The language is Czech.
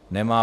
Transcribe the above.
Nemá.